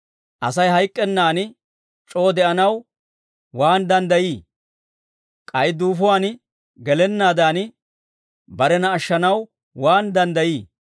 Asay hayk'k'ennan c'oo de'anaw waan danddayii? K'ay duufuwaan gelennaadan, barena ashshanaw waan danddayii?